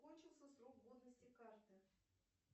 кончился срок годности карты